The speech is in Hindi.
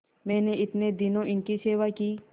मैंने इतने दिनों इनकी सेवा की